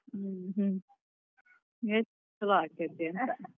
ಹ್ಮ್‌ ಹ್ಮ್‌ ಚುಲೋ ಅಕ್ಕೇತಿ ಅಂತ.